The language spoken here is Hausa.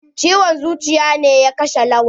Ciwon zuciya ne ya kashe Lawan.